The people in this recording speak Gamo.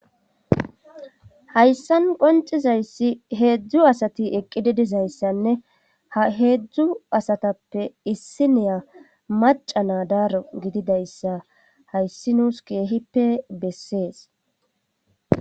hayssan qoncizayssi heedzdzu asati eqqididizayssanne ha heedzdzu asatappe issi neya maca na daaro gididayssa hayssi nuus keehippe bessees